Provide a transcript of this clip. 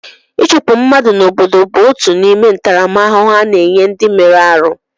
Ịchụpụ mmadụ n'obodo bụ otu n'ime ntaramahụhụ a na-enye ndị mere arụ.